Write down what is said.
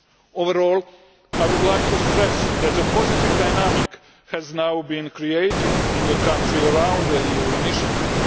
Overall, I would like to stress that a positive dynamic has now been created in the country around the EU initiative.